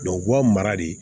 u b'a mara de